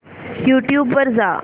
YouTube वर जा